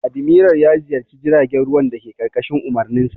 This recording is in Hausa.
Admiral ya ziyarci jiragen ruwan dake ƙarƙashin umarninsa.